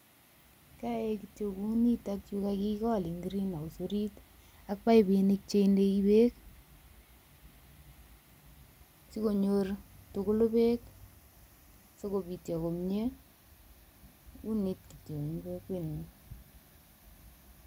Kiyoe kityo kunitok yu kakigol eng greenhouse orit, ak paipinik cheindei beek sikonyor tugulu beek sikobityo komye, unit kityo eng kokwenyu.